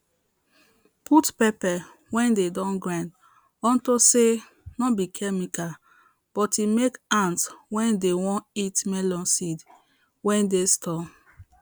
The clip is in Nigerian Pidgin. put pepper wey dey don grind unto say no be chemical but e make ants wey dey won eat melon seeds wey dey store